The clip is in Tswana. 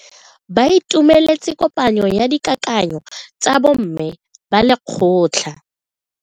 Ba itumeletse kopanyo ya dikakanyo tsa bo mme ba lekgotla.